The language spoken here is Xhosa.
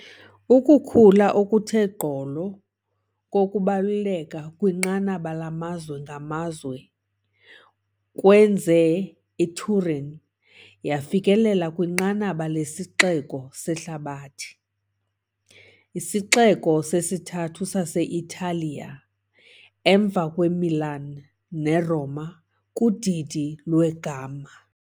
Ukukhula okuthe gqolo kokubaluleka kwinqanaba lamazwe ngamazwe kwenze iTurin yafikelela kwinqanaba lesixeko sehlabathi, isixeko sesithathu sase-Italiya emva kweMilan neRoma, kudidi "lweGamma" .